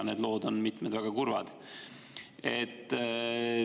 Mitmed lood on väga kurvad.